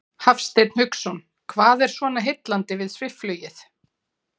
Hafsteinn Hauksson: Hvað er svona heillandi við svifflugið?